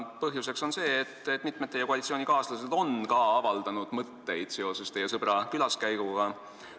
Põhjus on see, et mitmed teie koalitsioonikaaslased on avaldanud mõtteid teie sõbra külaskäigu kohta.